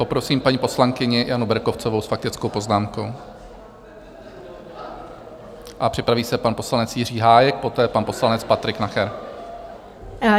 Poprosím paní poslankyni Janu Berkovcovou s faktickou poznámkou a připraví se pan poslanec Jiří Hájek, poté pan poslanec Patrik Nacher.